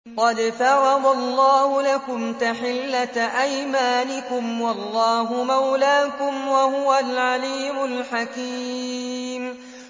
قَدْ فَرَضَ اللَّهُ لَكُمْ تَحِلَّةَ أَيْمَانِكُمْ ۚ وَاللَّهُ مَوْلَاكُمْ ۖ وَهُوَ الْعَلِيمُ الْحَكِيمُ